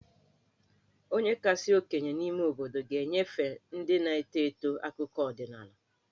Onye kasị okenye n'ime obodo ga-enyefe ndị na-eto eto akụkọ ọdịnaala.